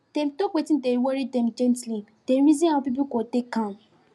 dem talk wetin dey worry them gently dem reason how people go take am